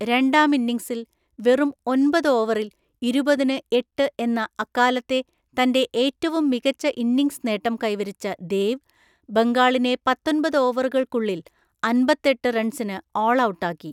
രണ്ടാം ഇന്നിങ്സിൽ വെറും ഒന്‍പത് ഓവറിൽ ഇരുപതിന് എട്ട് എന്ന അക്കാലത്തെ തൻ്റെ ഏറ്റവും മികച്ച ഇന്നിങ്സ് നേട്ടം കൈവരിച്ച ദേവ്, ബംഗാളിനെ പത്തൊന്‍പത് ഓവറുകൾക്കുള്ളിൽ അമ്പത്തെട്ട് റൺസിന് ഓൾഔട്ടാക്കി.